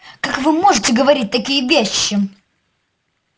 как вы можете говорить такие вещи